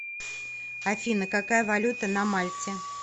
афина какая валюта на мальте